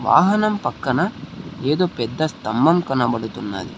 వాహనం పక్కన ఏదో పెద్ద స్తంభం కనబడుతున్నది.